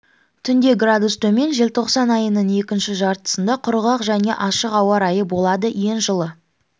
түнде градус төмен желтоқсан айының екінші жартысында құрғақ және ашық ауа райы болады ең жылы